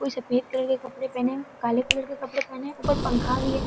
कुछ सफ़ेद कलर के कपड़े पहने हुए हैं काले कलर के कपड़े पहने हुए हैं ऊपर पंखा भी है।